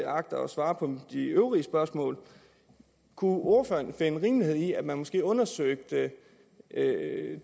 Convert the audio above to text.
agter at svare på de øvrige spørgsmål kunne ordføreren finde rimelighed i at man måske undersøgte